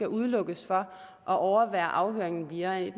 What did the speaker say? udelukkes fra at overvære afhøringen via